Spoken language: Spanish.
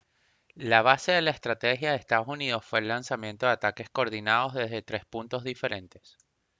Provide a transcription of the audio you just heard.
la base de la estrategia de ee uu fue el lanzamiento de ataques coordinados desde tres puntos diferentes